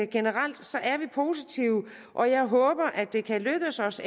generelt er positive og jeg håber at det kan lykkes os